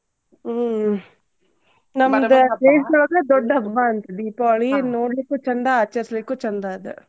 ಹ್ಮ್ ನಮ್ದ ದೊಡ್ಡ ಹಬ್ಬಾ ಅಂತ್ ದೀಪಾವಳಿ. ನೋಡ್ಲಿಕ್ಕು ಚಂದಾ ಆಚರ್ಸ್ಲಿಕ್ಕು ಚಂದಾ ಅದ